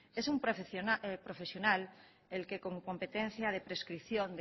es un profesional el que con competencia de prescripción